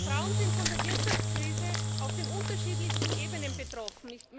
Frauen sind von der Wirtschaftskrise auf den unterschiedlichsten Ebenen betroffen.